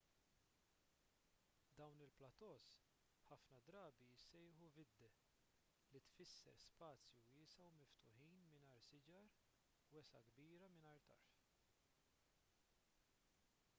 dawn il-plateaus ħafna drabi jissejħu vidde li tfisser spazju wiesa' u miftuħ mingħajr siġar wesgħa kbira mingħajr tarf